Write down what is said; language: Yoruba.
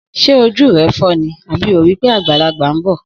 Sẹ òjú rẹ fọ ní, àbí ó rì pẹ àgbàlàgbà ḿbọ?